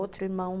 Outro irmão meu.